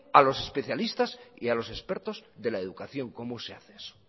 a los especialistas y a los expertos de la educación cómo se hace eso